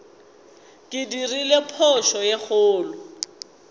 ke dirile phošo ye kgolo